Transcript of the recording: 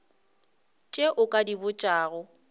tše o ka di botšago